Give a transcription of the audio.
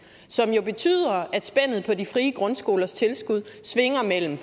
som jo betyder at spændet i de frie grundskolers tilskud svinger mellem